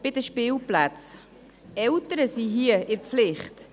Bei den Spilplätzen: Die Eltern sind hier in der Pflicht.